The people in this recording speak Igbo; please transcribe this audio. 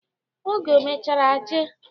Oge o mechara jee.